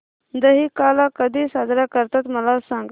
दहिकाला कधी साजरा करतात मला सांग